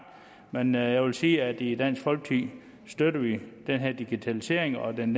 men jeg vil sige at i dansk folkeparti støtter vi den her digitalisering og den